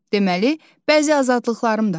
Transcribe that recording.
Deməli, bəzi azadlıqlarım da var.